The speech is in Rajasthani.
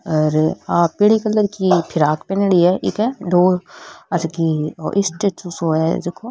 हेर आ पिली कलर की फ़िराक पहनेडी है इके आ जकी ओ स्टेचू सो है जको।